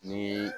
Ni